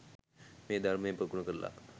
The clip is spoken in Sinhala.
මේ ධර්මය ප්‍රගුණ කරල